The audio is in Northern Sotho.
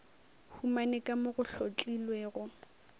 humane ka mo go hlotlilwego